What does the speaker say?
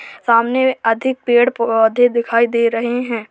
सामने अधिक पेड़-पौधे दिखाई दे रहे हैं।